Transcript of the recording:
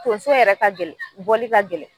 Tonso in yɛrɛ ka gɛlɛn , bɔli ka gɛlɛn.